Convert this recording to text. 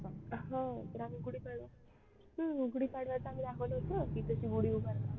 हो तर आम्ही गुढीपाडवा हम्म गुढीपाडव्याचा आम्ही दाखवलं होतं की कशी गुढी उभारतात